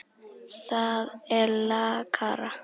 Það er lakara.